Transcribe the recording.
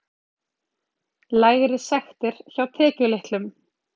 Lægri sektir hjá tekjulitlum